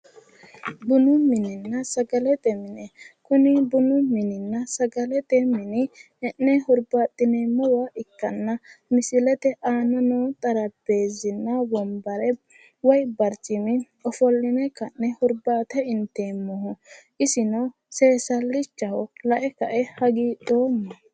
Bunu minenna sagalete mine, kuni bunu mininna sagalete mine e"ne hurbaaxineemmowa ikkanna misileete aana noo xarapheezinna wonbare woy barcima ofolli'ne ka'ne hurbaate inteemmoho isino, seesallichaho lae ka"e hagiidhoomma